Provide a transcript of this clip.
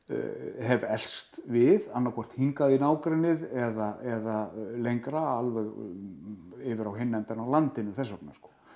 hef elst við annað hvort hingað í nágrennið eða lengra alveg yfir á hinn endann á landinu þess vegna